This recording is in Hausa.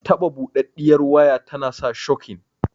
Taɓa buɗaɗɗiyar waya tana sa shokin